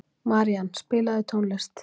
Marían, spilaðu tónlist.